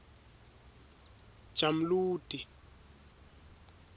jamludi